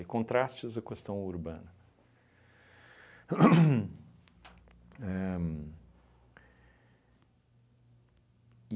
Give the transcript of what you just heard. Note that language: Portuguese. E contrastes a questão urbana. Hum éh